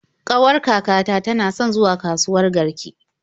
Ƙawar kakata tana son zuwa kasuwat Garki.